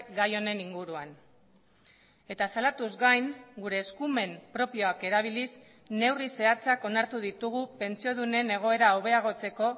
gai honen inguruan eta salatuz gain gure eskumen propioak erabiliz neurri zehatzak onartu ditugu pentsiodunen egoera hobeagotzeko